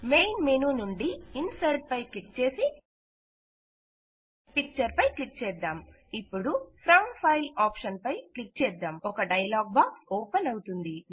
main menu నుండి insert పై click చేసి పిక్చర్ పై క్లిక్ చేద్దాం ఇపుడు ఫ్రం ఫైల్ ఆప్షన్ పై క్లిక్ చేద్దాం ఒక డైలాగ్ బాక్స్ ఓపెన్ అవుతుంది